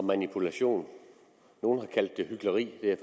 manipulation nogle har kaldt det hykleri det er